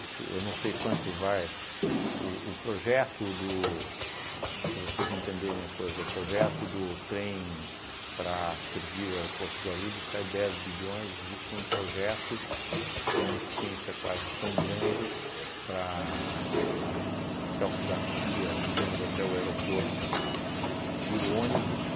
isso eu não sei quanto vai, o o projeto do, assim para vocês entenderem a coisa, o projeto do trem para servir o aeroporto de Guarulhos sai dez bilhões, existe um projeto com uma eficiência quase tão grande para a Celso Garcia ligando até o aeroporto por ônibus